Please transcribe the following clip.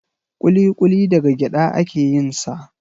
Kuli-kuli daga gyada a ke yin sa